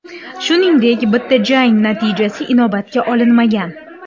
Shuningdek, bitta jang natijasi inobatga olinmagan.